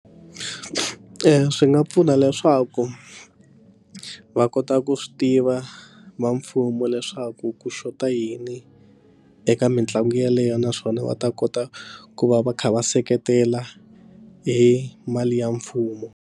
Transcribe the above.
Swi nga pfuna leswaku va kota ku swi tiva va mfumo leswaku ku xota yini eka mitlangu yeleyo naswona va ta kota ku va va kha va seketela hi mali ya mfumo.